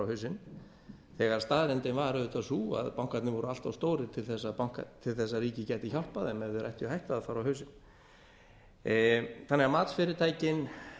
hausinn þegar staðreyndin var auðvitað sú að bankarnir væru allt of stórir til að ríkið gæti hjálpað þeim ef þeir ættu á hættu að fara á hausinn matsfyrirtækin